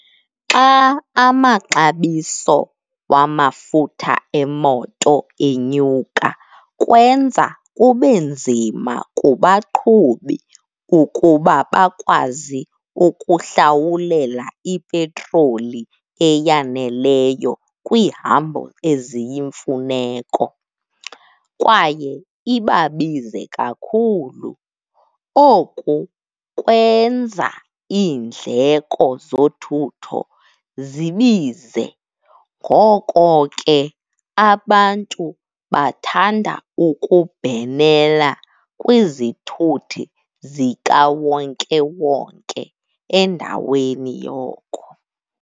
Xa amaxabiso wamafutha emoto enyuka kwenza kube nzima kubaqhubi ukuba bakwazi ukuhlawulela ipetroli eyaneleyo kwiihambo eziyimfuneko, kwaye ibabize kakhulu. Oku kwenza iindleko zothutho zibize. Ngoko ke, abantu bathanda ukubhenela kwizithuthi zikawonkewonke endaweni yoko.